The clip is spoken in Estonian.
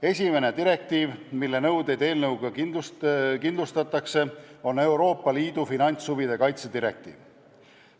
Esimene direktiiv, mille nõuded eelnõuga kindlustatakse, on Euroopa Liidu finantshuvide kaitse direktiiv.